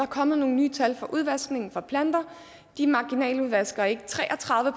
kommet nogle nye tal for udvaskningen fra planter de marginaludvasker ikke tre og tredive